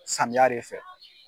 Samiya de fɛ.